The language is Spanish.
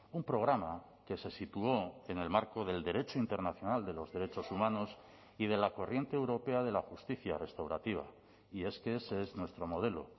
un programa que se situó en el marco del derecho internacional de los derechos humanos y de la corriente europea de la justicia restaurativa y es que ese es nuestro modelo